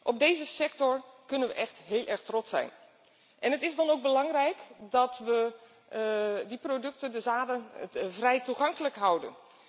Op deze sector kunnen we echt heel erg trots zijn en het is dan ook belangrijk dat we die producten, de zaden vrij toegankelijk houden.